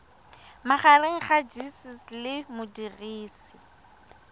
magareng ga gcis le modirisi